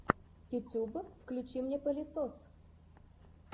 ютюб включи мне палесос